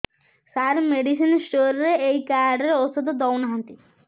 ସାର medicine store ରେ ଏଇ card ରେ ଔଷଧ ଦଉନାହାନ୍ତି